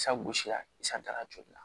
Sagosi la i santara joli la